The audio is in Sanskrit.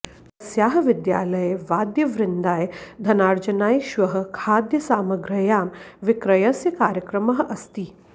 तस्याः विद्यालये वाद्यवृन्दाय धनार्जनाय श्वः खाद्यसामग्रयां विक्रयस्य कार्यक्रमः अस्ति